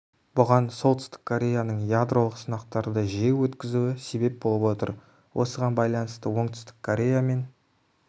бұған солтүстік кореяның ядролық сынақтарды жиі өткізуі себеп болып отыр осыған байланысты оңтүстік корея мен